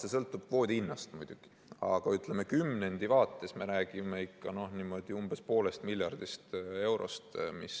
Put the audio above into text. See sõltub muidugi kvoodi hinnast, aga kümnendi vaates me räägime umbes poolest miljardist eurost.